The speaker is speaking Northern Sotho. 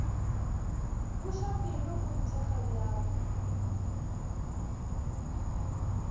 buša pelo o nthekge bjalo